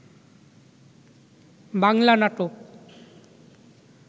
বাংলা নাটক